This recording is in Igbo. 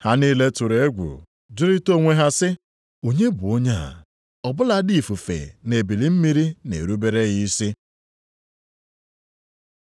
Ha niile tụrụ egwu, jụrịta onwe ha sị, “Onye bụ onye a? Ọ bụladị ifufe na ebili mmiri na-erubere ya isi!”